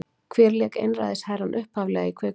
Hver lék Einræðisherrann upphaflega í kvikmyndinni?